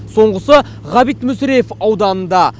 соңғысы ғабит мүсірепов ауданында